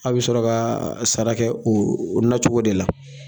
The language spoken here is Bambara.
A bɛ sɔrɔ ka sara kɛ o nacogo de la